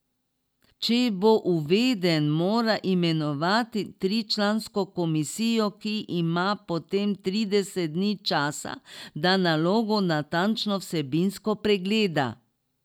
Če bo uveden, mora imenovati tričlansko komisijo, ki ima potem trideset dni časa, da nalogo natančno vsebinsko pregleda.